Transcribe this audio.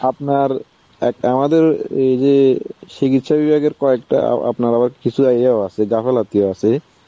আপনার অ্যাঁ আমাদের এই যে অ্যাঁ চিকিৎসা বিভাগের কয়েকটা আপনার আবার কিছু ইয়ে আছে, গাফিলতি আছে,